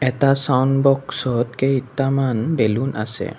এটা ছাউণ্ড বস্কত কেইটামান বেলুন আছে।